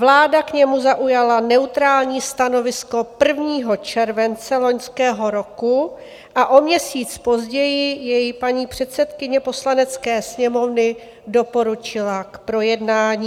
Vláda k němu zaujala neutrální stanovisko 1. července loňského roku a o měsíc později jej paní předsedkyně Poslanecké sněmovny doporučila k projednání.